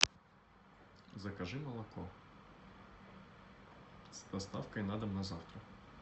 закажи молоко с доставкой на дом на завтра